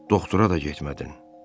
Doktora da getmədin.